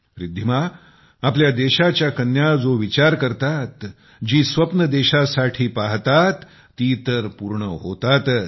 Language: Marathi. रिद्धिमाआपल्या देशाच्या कन्या जो विचार करतातजी स्वप्ने देशासाठी पाहतात ती तर पूर्ण होतातच